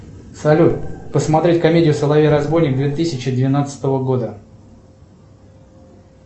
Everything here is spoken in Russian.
салют посмотреть комедию соловей разбойник две тысячи двенадцатого года